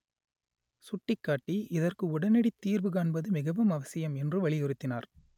சுட்டிக்காட்டி இதற்கு உடனடித்தீர்வு காண்பது மிகவும் அவசியம் என்று வலி யுறுத்தினார்